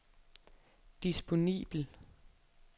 disponibel